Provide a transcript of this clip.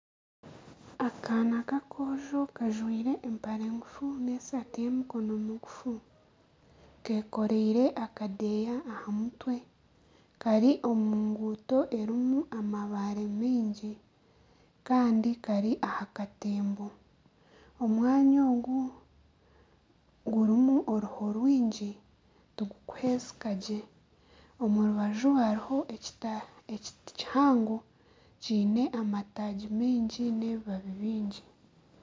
Akaana k'akoojo kajwaire empare ngufu n'esaati y'emikono migufu. Kekoreire akadeeya aha mutwe kari omu nguuto erimu amabaare mingi kandi kari aha katembo. Omwanya ogu gurimu oruho rwingi tigukuhwezeka gye. Omu rubaju hariho ekiti kihango kiine amataagi mingi n'ebibabi bingi.